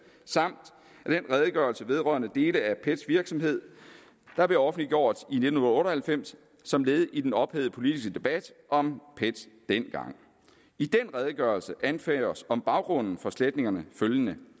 samt den redegørelse vedrørende dele af pets virksomhed der blev offentliggjort i nitten otte og halvfems som led i den ophedede politiske debat om pet dengang i den redegørelse anføres om baggrunden for sletningerne følgende